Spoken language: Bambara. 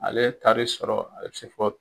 Ale ye taari sɔrɔ a bɛ se fɔ